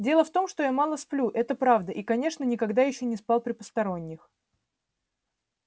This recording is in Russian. дело в том что я мало сплю это правда и конечно никогда ещё не спал при посторонних